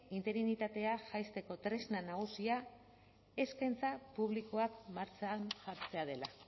interinitatea jaisteko tresna nagusia eskaintza publikoak martxan jartzea dela